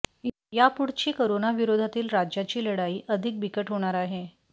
यापुढची करोनाविरोधातील राज्याची लढाई अधिक बिकट होणार आहे